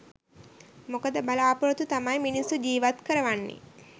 මොකද බලාපොරොත්තු තමයි මිනිස්සු ජීවත් කරවන්නේ